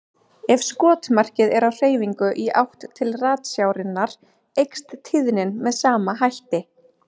Ef skotmarkið er á hreyfingu í átt til ratsjárinnar eykst tíðnin með sama hætti.